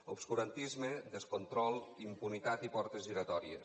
obscurantisme descontrol impunitat i portes giratòries